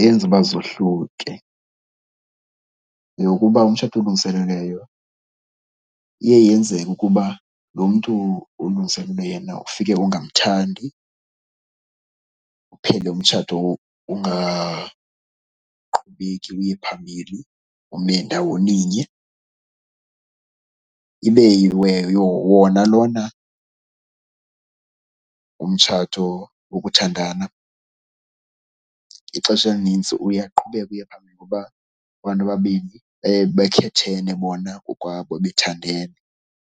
eyenza uba zohluke yeyokuba umtshato olungiselelweyo iye yenzeke ukuba lo mntu ulungiselelwe yena ufike ungamthandi uphele umtshato ungaqhubeki uye phambili, ume ndawoninye. Ibe wona lona umtshato wokuthandana, ixesha elinintsi uye aqhubeke uye phambili ngoba abantu ababini baye bekhethene bona ngokwabo, bethandene.